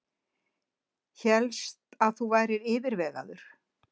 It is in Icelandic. Hélst að þú værir yfirvegaður.